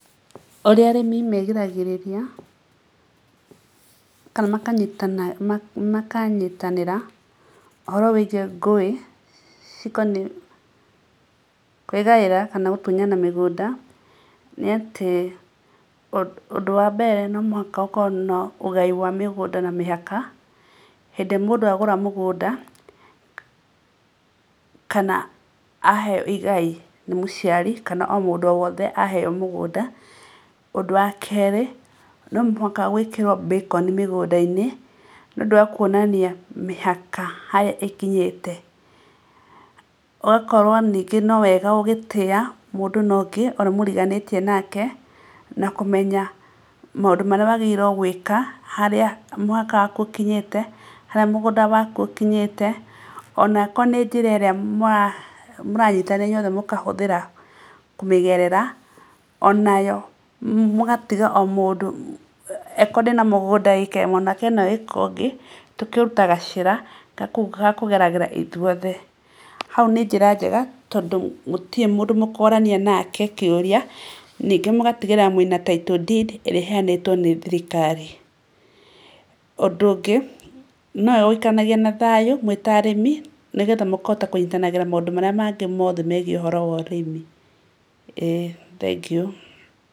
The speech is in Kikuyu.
Ũrĩa arĩmi megiragĩrĩria kana makanyitana ũhoro wĩgiĩ ngũĩ cikoniĩ kwĩgaĩra kana gũtunyana mĩgũnda nĩ atĩ ũndũ wa mbere no mũhaka gũkorwo na ũgai wa mĩgũnda na mĩhaka. Hĩndĩ mũndũ agũra mũgũnda kana aheo igai nĩ mũciari kana o mũndũ o wothe, aheo mũgũnda. Ũndũ wa kerĩ no mũhaka gwĩkĩrwo becon nĩ ũndũ wa kuonania mĩhaka harĩa ĩkinyĩte. Ũgakorwo ningĩ no wega ũgĩtĩa mũndũ na ũngĩ ũrĩa mũriganĩtie nake na kũmenya maũndũ marĩa wagĩrĩirwo gwĩka, harĩa mũhaka waku ũkinyĩte, harĩa mũgũnda waku ũkinyĩte, ona angĩkorwo nĩ njĩra ĩrĩa mũranyitanĩra inyuĩ othe mũkahũthĩra kũmĩgerera, ona yo mũgatiga o mũndũ. Angĩkorwo ndĩna mũgũnda ĩĩka ĩmwe nake ena iĩka ũngĩ, tũkaruta gacĩra gakũgeragĩra ithuĩ othe. Hau nĩ njĩra njega tondũ gũtirĩ mũndũ mũkorania nake kĩũria ningĩ mũgatigĩrĩra mwĩna Title deed ĩrĩa ĩheanĩtwo nĩ thirikari. Ũndũ ũngĩ nĩ wega gũikaranagia na thayũ mwĩ ta arĩmi nĩgetha mũkahota kũnyitanagĩra maũnũ marĩa mangĩ mothe megiĩ ũhoro wa ũrĩmi. ĩĩ thengio.